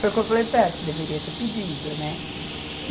Foi o que eu falei para ela, deveria ter pedido, né?